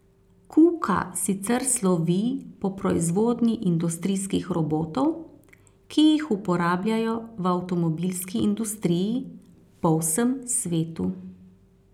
Kuka sicer slovi po proizvodnji industrijskih robotov, ki jih uporabljajo v avtomobilski industriji po vsem svetu.